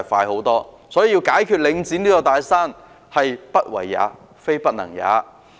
有鑒於此，要解決領展這座"大山"是"不為也，非不能也"。